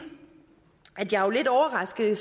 at jeg jo er lidt overrasket